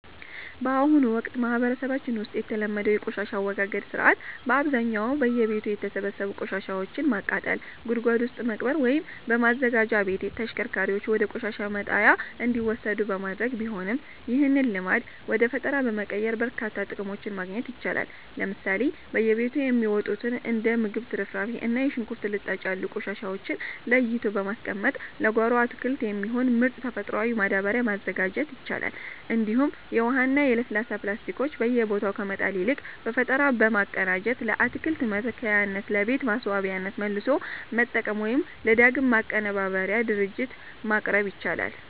በአሁኑ ወቅት በማህበረሰባችን ውስጥ የተለመደው የቆሻሻ አወጋገድ ሥርዓት በአብዛኛው በየቤቱ የተሰበሰቡ ቆሻሻዎችን በማቃጠል፣ ጉድጓድ ውስጥ በመቅበር ወይም በማዘጋጃ ቤት ተሽከርካሪዎች ወደ ቆሻሻ መጣያ እንዲወሰዱ በማድረግ ቢሆንም፣ ይህንን ልማድ ወደ ፈጠራ በመቀየር በርካታ ጥቅሞችን ማግኘት ይቻላል። ለምሳሌ በየቤቱ የሚወጡትን እንደ የምግብ ትርፍራፊ እና የሽንኩርት ልጣጭ ያሉ ቆሻሻዎችን ለይቶ በማስቀመጥ ለጓሮ አትክልት የሚሆን ምርጥ ተፈጥሯዊ ማዳበሪያ ማዘጋጀት ይቻላል፤ እንዲሁም የውሃና የለስላሳ ፕላስቲኮችን በየቦታው ከመጣል ይልቅ በፈጠራ በማቀናጀት ለአትክልት መትከያነትና ለቤት ማስዋቢያነት መልሶ መጠቀም ወይም ለዳግም ማቀነባበሪያ ድርጅቶች ማቅረብ ይቻላል።